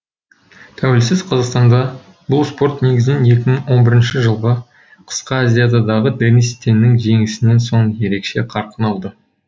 тәуелсіз қазақстанда бұл спорт негізінен екі мың он бірінші жылғы қысқы азиададағы денис теннің жеңісінен соң ерекше қарқын алды